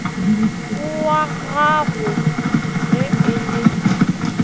wag ago ge e le